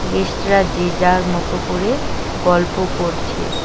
গেস্টরা যে যার মত করে গল্প করছে।